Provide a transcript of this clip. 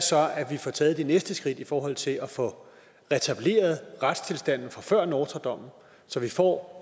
så at vi får taget det næste skridt i forhold til at få retableret retstilstanden fra før nortra dommen så vi får